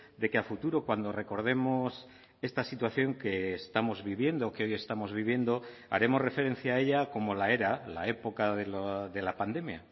de que a futuro cuando recordemos esta situación que estamos viviendo que hoy estamos viviendo haremos referencia a ella como la era la época de la pandemia